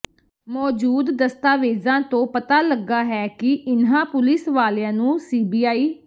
ਮੌਜੂਦ ਦਸਤਾਵੇਜ਼ਾਂ ਤੋਂ ਪਤਾ ਲੱਗਾ ਹੈ ਕਿ ਇਨ੍ਹਾਂ ਪੁਲਿਸ ਵਾਲਿਆਂ ਨੂੰ ਸੀਬੀਆਈ